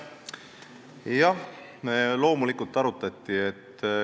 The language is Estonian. Jah, loomulikult seda arutati.